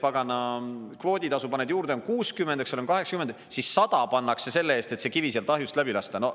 Pagana kvooditasu paned juurde, on 60, 80, siis 100 pannakse selle eest, et see kivi sealt ahjust läbi lasta.